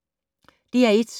DR1